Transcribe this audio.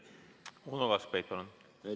Uno Kaskpeit, palun!